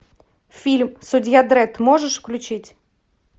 фильм судья дредд можешь включить